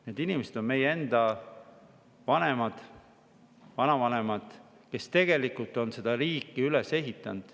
Need inimesed on meie enda vanemad, vanavanemad, kes tegelikult on seda riiki üles ehitanud.